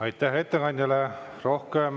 Aitäh ettekandjale!